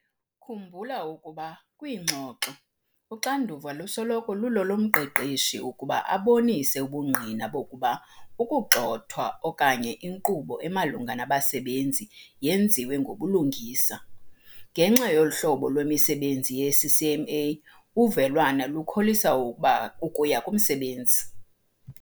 Khumbula ukuba kwiingxoxo uxanduva lusoloko lulolomqeshi ukuba abonise ubungqina bokuba ukugxothwa okanye inkqubo emalunga nabasebenzi yenziwe ngobulungisa. Ngenxa yohlobo lwemisebenzi yeCCMA uvelwano lukholisa ukuba ukuya kumsebenzi.